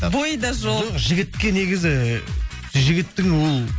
бойы да жоқ жоқ жігітке негізі жігіттің ол